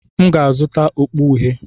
M ga-azụta okpu uhie.